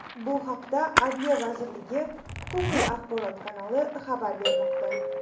Bu haqda Adliya vazirligi Huquqiy axborot kanali xabar bermoqda .